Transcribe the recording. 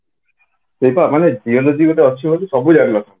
ସେଇପା ମାନେ geology ଗୋଟେ ଅଛି ବୋଲି ସବୁ ଜାଣି ନଥିଲେ